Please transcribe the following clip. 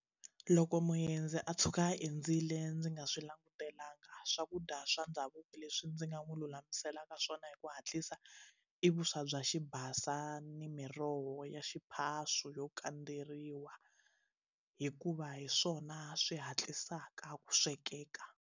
Loko muendzi a tshuka a hindzile ndzi nga swi langutelanga swakudya swa ndhavuko leswi ndzi nga n'wi lulamiselaka swona hi ku hatlisa i vuswa bya xibasa ni miroho ya xiphaswo yo kandzeriwa hikuva hi swona swi hatlisaka ku swekeka.